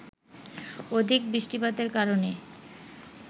অধিক বৃষ্টিপাতের কারণে